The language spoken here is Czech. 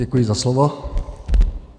Děkuji za slovo.